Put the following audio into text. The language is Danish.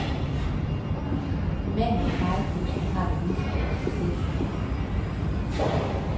Manden med fejekosten har det lige så godt som chefen. punktum